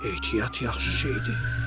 Ehtiyat yaxşı şeydir.